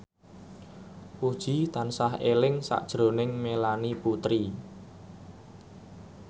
Puji tansah eling sakjroning Melanie Putri